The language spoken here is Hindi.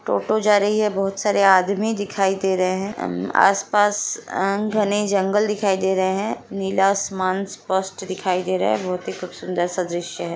टोटो जा रही है बहुत सारे आदमी दिखाई दे रहे हैं आस-पास अ घने जंगल दिखाई दे रहे हैं नीला आसमान स्पस्ट दिखाई दे रहा है बहुत ही खूब सुंदर सा दृश्य है।